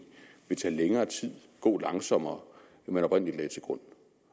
vil tage længere tid gå langsommere end man oprindelig lagde til grund